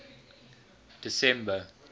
december